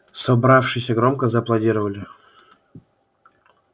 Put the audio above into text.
собравшиеся громко зааплодировали